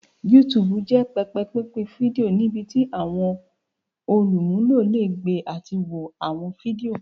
YouTube jẹ pẹpẹ pinpin fidio nibiti awọn olumulo le gbe ati wo awọn fidio.